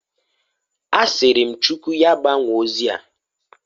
Asịrị m Chukwu ya gbanwoo ozia.